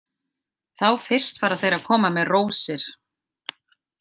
Þá fyrst fara þeir að koma með rósir.